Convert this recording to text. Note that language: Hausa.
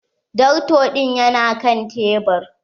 Darto ɗin ya na kan tebur.